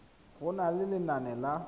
go na le lenane la